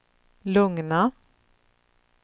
lugna